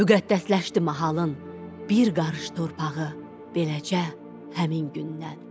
Müqəddəsləşdi mahalın bir qarış torpağı beləcə həmin gündən.